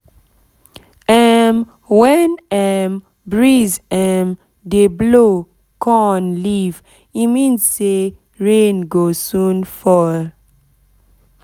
um when um breeze um dey blow corn leaf e mean say rain go soon fall